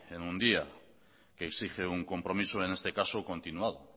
en un día que exige un compromiso en este caso continuado